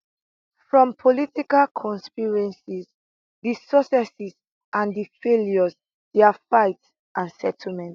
from political conspiracies di successes and di failures dia fights and settlements